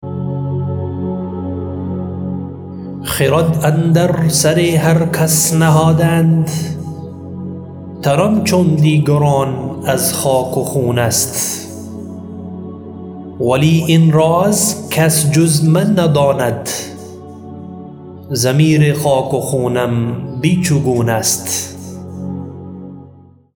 خرد اندر سر هر کس نهادند تنم چون دیگران از خاک و خون است ولی این راز کس جز من نداند ضمیر خاک و خونم بیچگون است